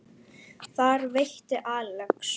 Þar veitti Axel